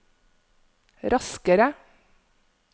raskere